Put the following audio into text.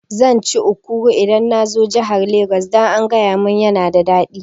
Zan ci Ekuru idan nazo jahar Lagos, dan an gayamin yana da daɗi